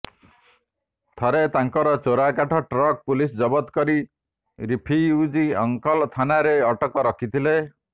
ଥରେ ତାଙ୍କର ଚୋରାକାଠ ଟ୍ରକ୍ ପୁଲିସ୍ ଜବତ୍ କରି ରିଫିଉଜି ଅଙ୍କଲ ଥାନାରେ ଅଟକ ରଖିଥିଲେ